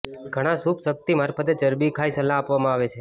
ઘણા સૂપ શક્તિ મારફતે ચરબી ખાય સલાહ આપવામાં આવે છે